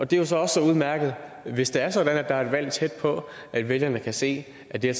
det er så også udmærket hvis det er sådan at der er et valg tæt på at vælgerne kan se at det